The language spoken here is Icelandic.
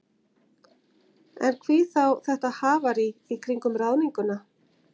En hví þá þetta hafarí í kringum ráðninguna?